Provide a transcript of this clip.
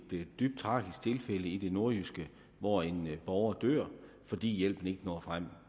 dybt tragisk tilfælde i det nordjyske hvor en borger dør fordi hjælpen ikke når frem